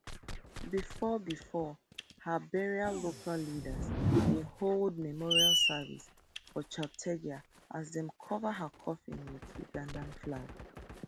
before before her burial local leaders bin hold memorial service for cheptegei as dem cover her coffin wit ugandan flag